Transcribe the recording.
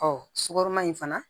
sukaro ma in fana